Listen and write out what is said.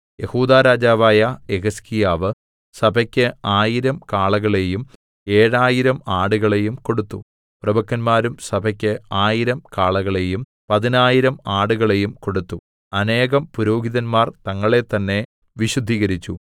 യെഹൂദാ രാജാവായ യെഹിസ്കീയാവ് സഭയ്ക്ക് ആയിരം കാളകളെയും ഏഴായിരം ആടുകളെയും കൊടുത്തു പ്രഭുക്കന്മാരും സഭയ്ക്ക് ആയിരം കാളകളെയും പതിനായിരം ആടുകളെയും കൊടുത്തു അനേകം പുരോഹിതന്മാർ തങ്ങളെത്തന്നെ വിശുദ്ധീകരിച്ചു